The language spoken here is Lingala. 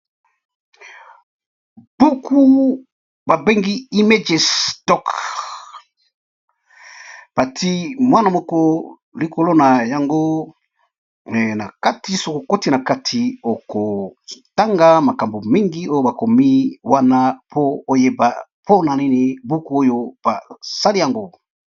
Buku babengi image stock batie mwana moko likolo na yango mais na kati soki okoti na kati oko tanga makambo mingi oyo bakomi wana po oyeba mpona nini buku oyo basali yango.